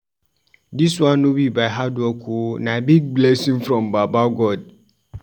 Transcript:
Dis one no be my hard work o, na big blessing from baba God.